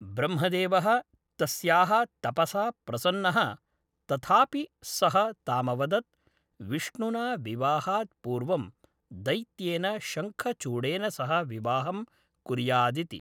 ब्रह्मदेवः तस्याः तपसा प्रसन्नः तथापि सः तामवदत्, विष्णुना विवाहात् पूर्वं दैत्येन शङ्खचूडेन सह विवाहं कुर्यादिति।